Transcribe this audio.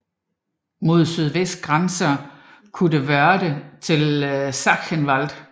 Mod sydvest grænser Kuddewörde til Sachsenwald